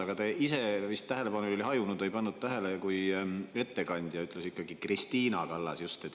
Aga teil vist tähelepanu oli hajunud, te ei pannud tähele, kui ettekandja ütles Kristiina Kallas.